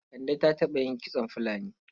Kande ta taɓa yin kitson fulani?